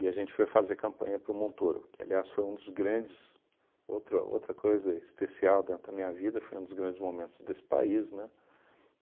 a gente foi fazer campanha para o Montoro, que aliás foi um dos grandes, outro outra coisa especial dentro da minha vida, foi um dos grandes momentos desse país, né?